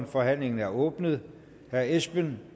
forhandlingen er åbnet herre esben